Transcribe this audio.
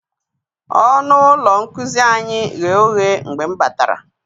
Ọnụ ụlọ nkuzi anyị ghe oghe mgbe m batara.